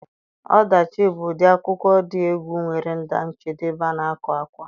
Ọdachi bụ ụdị akwụkwọ dị egwu nwere njedebe na-agu àkwá